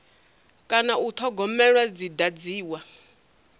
kana u thogomelwa dzi dadziwa